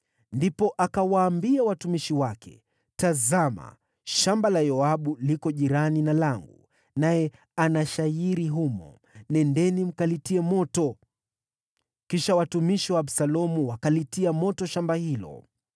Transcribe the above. Ndipo akawaambia watumishi wake, “Tazama, shamba la Yoabu liko jirani na langu, naye ana shayiri humo. Nendeni mkalitie moto.” Kisha watumishi wa Absalomu wakalitia moto shamba hilo.